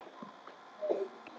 Og þá er nú flug á mínum manni.